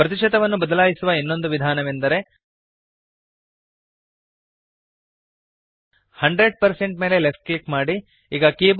ಪ್ರತಿಶತವನ್ನು ಬದಲಾಯಿಸುವ ಇನ್ನೊಂದು ವಿಧಾನವೆಂದರೆ 100 ಮೇಲೆ ಲೆಫ್ಟ್ ಕ್ಲಿಕ್ ಮಾಡಿರಿ